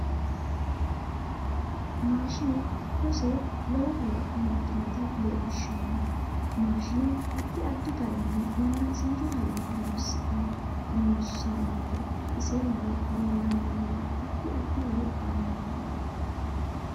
Maashine giddose lowo horo amadinota leelishanno mashiine addi aadi garinni yannasicho hayyo horoonisene loosanite ise mule leelanno mini addi addi horo aannoho